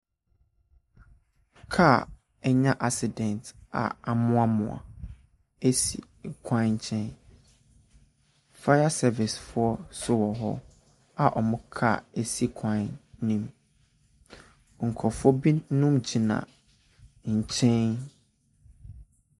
Kaa anya accident amoamoa si kwan nkyɛn, fire servicefoɔ nso wɔ hɔ a wɔn kaa si kwan ne mu, nkurɔfoɔ binom gyina nkyɛn.